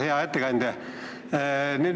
Hea ettekandja!